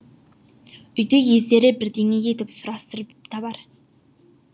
үйді ездері бірдеңе етіп сұрастырып табар